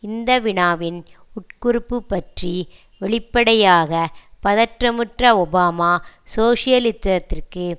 இந்த வினாவின் உட்குறிப்பு பற்றி வெளிப்படையாக பதட்டமுற்ற ஒபாமா சோசியலிசத்திற்கு